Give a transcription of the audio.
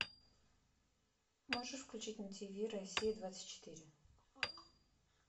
можешь включить на тв россия двадцать четыре